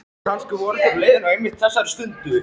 Kannski voru þeir á leiðinni einmitt á þessari stundu.